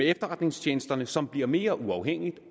efterretningstjenesterne som bliver mere uafhængigt